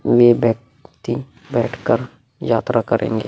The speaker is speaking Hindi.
ये व्यक्ति बैठकर यात्रा करेंगे।